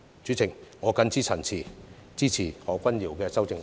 主席，我謹此陳辭，支持何君堯議員的修正案。